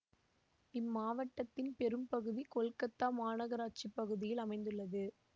இம்மாவட்டத்தின் பெரும் பகுதி கொல்கத்தா மாநகராட்சிப் பகுதியில் அமைந்துள்ளது